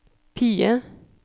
PIE